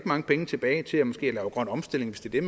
mange penge tilbage til måske at lave grøn omstilling hvis det er